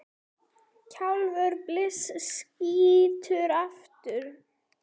Kjaftur byssu skýtur aftur.